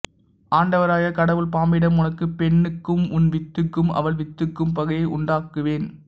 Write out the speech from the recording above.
ஆண்டவராகிய கடவுள் பாம்பிடம் உனக்கும் பெண்ணுக்கும் உன் வித்துக்கும் அவள் வித்துக்கும் பகையை உண்டாக்குவேன்